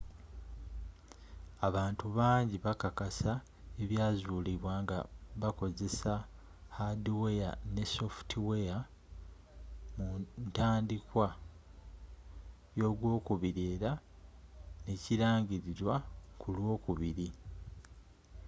abantu bangi bakakasa ebyazuulibwa nga bakozesa haadiweya ne sofutiweya mu ntandikwa y'ogwokubiri era nekirangililwa kulw'okubiri